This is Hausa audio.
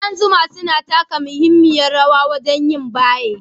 Ƙudan zuma suna taka muhimmiyar rawa wajen yin baye,